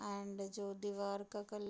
and जो दीवार का कल--